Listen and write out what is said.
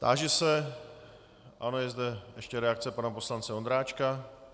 Táži se - ano, je zde ještě reakce pana poslance Ondráčka.